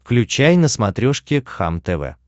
включай на смотрешке кхлм тв